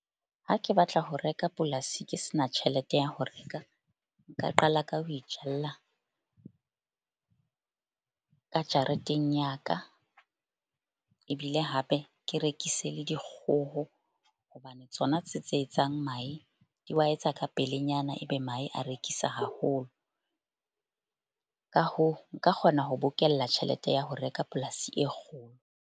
Ha ke batla ho reka polasi ke sena tjhelete ya ho reka nka qala ka ho ijalla ka jareteng ya ka. Ebile hape ke rekise le dikgoho hobane tsona tse tse etsang mahe di wa etsa ka pelenyana ebe mahe a rekisa haholo. Ka hoo, nka kgona ho bokella tjhelete ya ho reka polasi e .